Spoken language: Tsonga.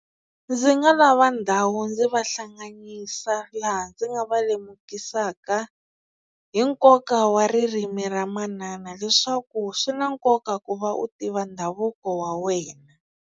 Ndzi nga lava ndhawu ndzi va hlanganyisa laha ndzi nga va lemukisaka hi nkoka wa ririmi ra manana leswaku swi na nkoka ku va u tiva ndhavuko wa wena.